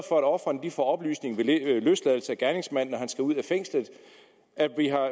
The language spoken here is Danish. for at ofrene får oplysning ved løsladelse af gerningsmanden altså når han skal ud af fængslet at vi har